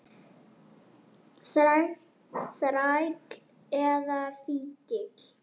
Þræll eða fíkill.